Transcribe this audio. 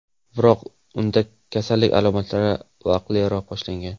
Biroq unda kasallik alomatlari vaqtliroq boshlangan.